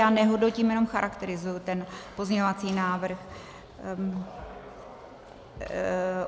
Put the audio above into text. Já nehodnotím, jenom charakterizuji ten pozměňovací návrh.